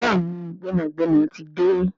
Béèni gbénàgbénà tí dé.